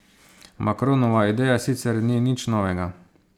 Macronova ideja sicer ni nič novega.